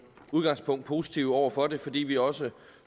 udgangspunkt positive over for det fordi vi også